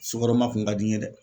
Sukɔrɔma kun ka di n ye dɛ